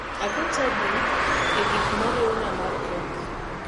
aket to adi e gik mo riwna mar kek